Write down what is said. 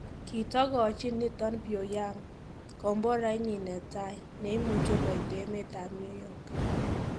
Kitogochin niiton Pyongyang komborainyin netai ,neimuche koit emet ab New York.